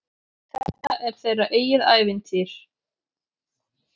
Þetta er þeirra eigið ævintýr.